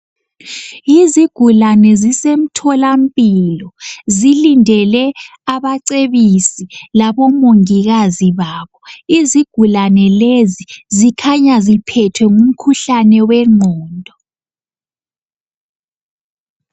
Yizigulane zisemtholampilo zilindele abacebisi labomongikazi babo. Izigulane lezi ezikhanya ziphethwe ngumkhuhlane wengqondo.